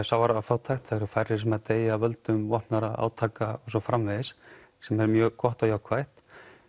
sára fátækt færri sem deyja af völdum vopnaðra átaka og svo framvegis sem er mjög gott og jákvætt